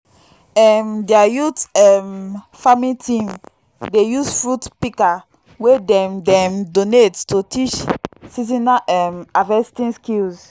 um dia youth um farming team dey use fruit pika wey dem dem donate to teach seasonal um harvesting skills